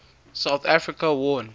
south africa won